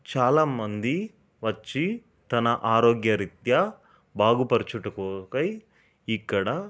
చాలామంది వచ్చి తన ఆరోగ్య రిత్యా బాగుపరచుట కొరకై ఇక్కడ --